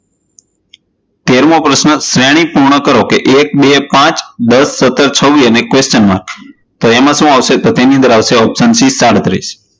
તેરમો પ્રશ્ન, શ્રેણી પૂર્ણ કરો, એક, બે, પાંચ, દશ, સતર, છવીસ question mark તો એમાં શું આવશે? તો તેની અંદર આવશે option c સાડત્રીસ